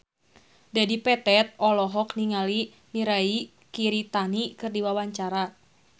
Dedi Petet olohok ningali Mirei Kiritani keur diwawancara